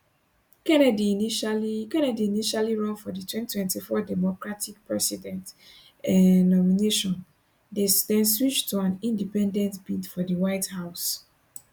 kennedy initially kennedy initially run for di 2024 democratic presidential um nomination den switch to an independent bid for di white house